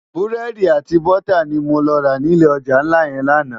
Búrédi àti bútá ni mó rá ni ilé òjá nlá yèn làná